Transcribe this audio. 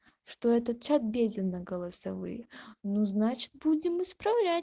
что этот чат беден на голосовые ну значит будем исправлять